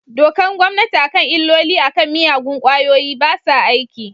Dokar gommanti a kan illolin a kan miyagun kwayoyi basa aiki.